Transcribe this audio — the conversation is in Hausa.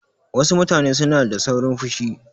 Wasu mutane suna da saurin fushi.